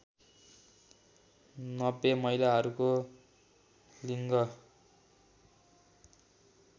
९० महिलाहरूको लिङ्ग